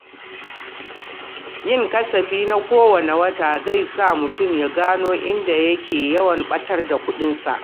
Yin kasafi na kowane wata zai sa mutum ya gano inda yake yawan ɓatar da kuɗi.